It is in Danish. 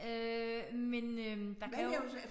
Øh men øh der kan jo